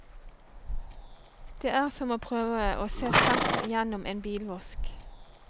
Det er som å prøve å se tvers igjennom en bilvask.